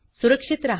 सुरक्षित रहा